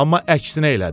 Amma əksinə elədi.